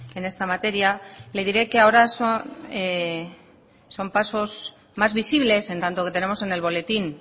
en esta materia le diré que ahora son pasos más visibles en tanto que tenemos en el boletín